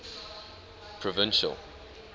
provincial